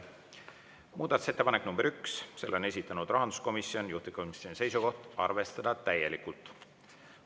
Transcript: Muudatusettepanek nr 1, selle on esitanud rahanduskomisjon, juhtivkomisjoni seisukoht on arvestada täielikult.